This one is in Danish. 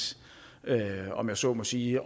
om jeg så må sige